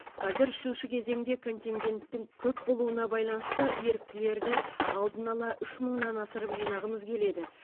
қазір үшінші кезеңде контингенттің көп болуына байланысты еріктілерді алдын ала үш мыңнан асырып жинағымыз келеді